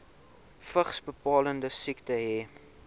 vigsbepalende siekte hê